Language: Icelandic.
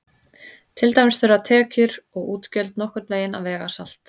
Til dæmis þurfa tekjur og útgjöld nokkurn veginn að vega salt.